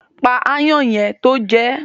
Pa aáyán yẹn tó jẹ ẹ́.